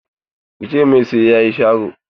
Ki ce mai sai ya yi sharo!